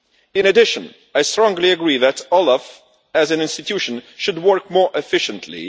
In addition, I strongly agree that OLAF as an institution should work more efficiently